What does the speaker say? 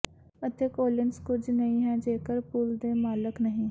ਅਤੇ ਕੋਲਿਨਸ ਕੁਝ ਨਹੀਂ ਹੈ ਜੇਕਰ ਪੁਲ ਦੇ ਮਾਲਕ ਨਹੀਂ